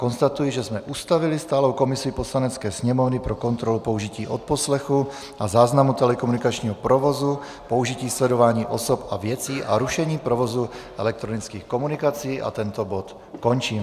Konstatuji, že jsme ustavili stálou komisi Poslanecké sněmovny pro kontrolu použití odposlechu a záznamu telekomunikačního provozu, použití sledování osob a věcí a rušení provozu elektronických komunikací, a tento bod končím.